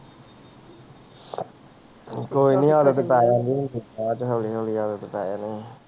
ਕੋਈ ਨੀ ਆਦਤ ਪੈ ਜਾਂਦੀ ਹੁੰਦੀ, ਇਹ ਤੇ ਹੌਲੀ ਹੌਲੀ ਆਦਤ ਪੈ ਜਾਣੀ ਹੈ।